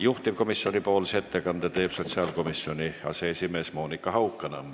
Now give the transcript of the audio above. Juhtivkomisjoni ettekande teeb sotsiaalkomisjoni aseesimees Monika Haukanõmm.